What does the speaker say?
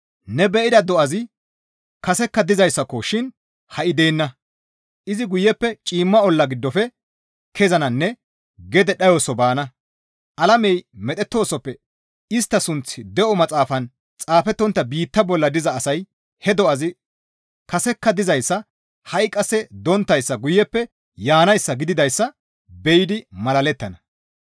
Ne be7ida do7azi kasekka dizayssako shin ha7i deenna. Izi guyeppe ciimma olla giddofe kezananne gede dhayoso baana; alamey medhettoosoppe istta sunththi de7o maxaafan xaafettontta biitta bolla diza asay he do7azi kasekka dizayssa ha7i qasse donttayssa guyeppe yaanayssa gididayssa be7idi malalettana.